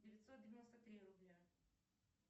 девятьсот девяносто три рубля